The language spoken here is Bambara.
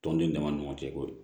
Tɔnden dama ni ɲɔgɔn cɛ koyi